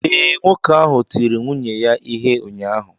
Ee, nwoke ahụ tiri nwunye ya ihe ụnyaahụ.